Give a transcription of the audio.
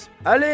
Əli!